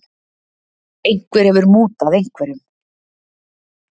Einhver hefur mútað einhverjum.